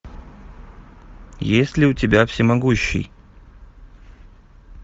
есть ли у тебя всемогущий